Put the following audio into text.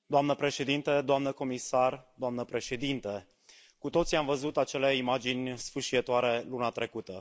Doamnă președintă, doamnă comisară, doamnă președintă, cu toții am văzut acele imagini sfâșietoare luna trecută.